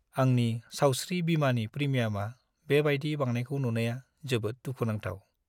आंनि सावस्रि बीमानि प्रिमियामा बेबायदि बांनायखौ नुनाया जोबोद दुखु नांथाव।